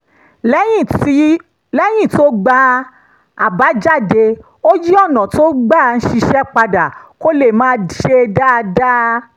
lẹ́yìn tó gba àbájáde ó yí ọ̀nà tó gbà ń ṣiṣẹ́ padà kó lè máa ṣe dáadáa